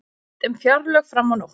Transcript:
Rætt um fjárlög fram á nótt